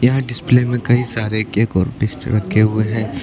यह डिस्प्ले में कई सारे केक और रखे हुए हैं।